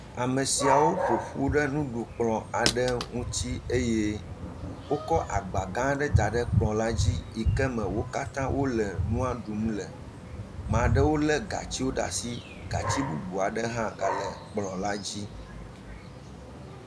Ame siawo ƒo ƒu ɖe nuɖukplɔ̃ aɖe ŋuti eye wokɔ agbagã aɖe da ɖe kplɔ̃la dzi yi ke me wo katã wole nua ɖum le. Ma ɖewo lé gatsiwo ɖa si. Gatsi bubu aɖe hã gale kplɔ̃la dzi.